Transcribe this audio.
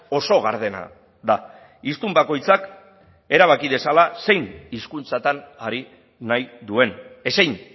oso gardena da hiztun bakoitzak erabaki dezala zein hizkuntzatan ari nahi duen ezein